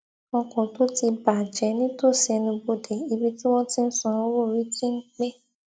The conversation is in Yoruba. ọkọ tó ti bà jẹ nítòsí ẹnubodè ibi tí wọn ti ń san owó orí ti ń pẹ